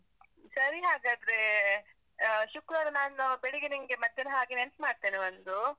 ಸರಿ ಹಾಗಾದ್ರೆ. ಅಹ್‌ ಶುಕ್ರವಾರ ನಾನು, ಬೆಳಿಗ್ಗೆ ನಿಂಗೆ ಮಧ್ಯಾಹ್ನ ಹಾಗೆ ನೆನಪ್ ಮಾಡ್ತೇನೆ ಒಂದು.